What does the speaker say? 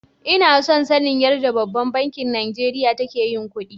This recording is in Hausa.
Ina son sanin yarɗa ɓabban banki Najeriya take yin kuɗi.